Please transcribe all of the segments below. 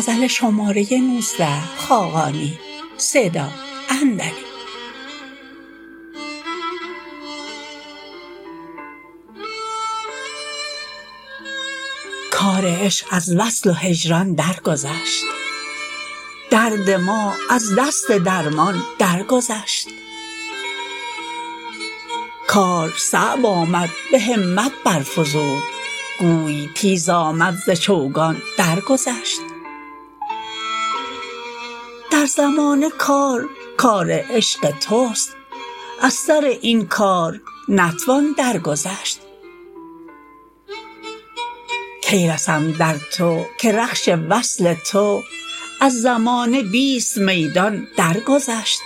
کار عشق از وصل و هجران درگذشت درد ما از دست درمان درگذشت کار صعب آمد به همت برفزود گوی تیز آمد ز چوگان درگذشت در زمانه کار کار عشق توست از سر این کار نتوان درگذشت کی رسم در تو که رخش وصل تو از زمانه بیست میدان درگذشت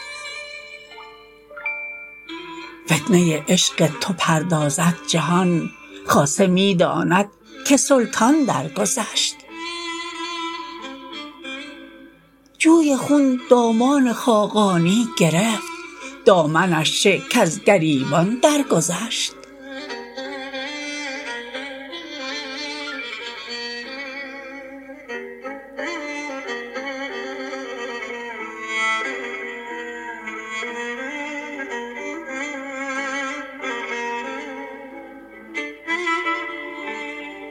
فتنه عشق تو پردازد جهان خاصه می داند که سلطان درگذشت جوی خون دامان خاقانی گرفت دامنش چه کز گریبان درگذشت